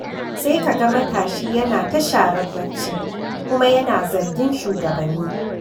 Sai ka ga matashi yana ta sharar barci, kuma yana zargin shugabanni.